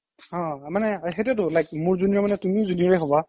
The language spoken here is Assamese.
অ মানে সেইটোৱেটো like মোৰ junior মানে তুমিও junior য়ে হ'বা